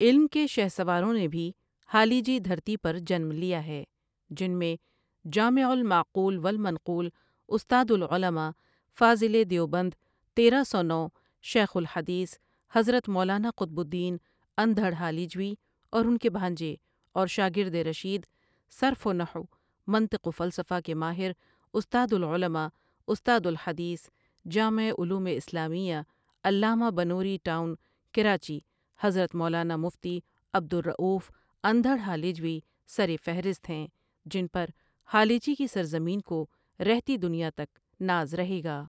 علم کے شہسواروں نے بھی ہالیجی دھرتی پر جنم لیا ھے جن میں جامع المعقول والمنقول استاد العلما ٕ فاضل دیوبند تیرہ سو نو شیخ الحدیث حضرت مولانا قطب الدین انڈھڑ ھالیجوی اور انکے بھانجے اور شاگرد رشید صرف و نحو منطق و فلسفہ کے ماہر استاد العلما ٕ استادالحدیث جامعہ علوم الاسلامیہ علامہ بنوری ٹاٶن کراچی حضرت مولانا مفتی عبدالرٶف انڈھڑ ھالیجوی سرفہرست ھیں جن پر ھالیجی کی سرزمین کو رہتی دنیا تک ناز رھے گا۔